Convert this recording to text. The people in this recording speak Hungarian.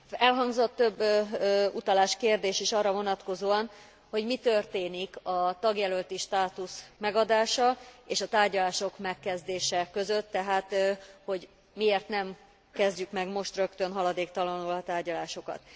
Elhangzott több utalás, kérdés is arra vonatkozóan, hogy mit történik a tagjelölti státusz megadása és a tárgyalások megkezdése között, tehát, hogy miért nem kezdjük meg most rögtön, haladéktalanul a tárgyalásokat.